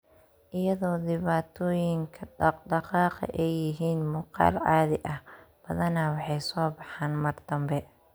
Iyadoo dhibaatooyinka dhaqdhaqaaqa ay yihiin muuqaal caadi ah, badanaa waxay soo baxaan mar dambe.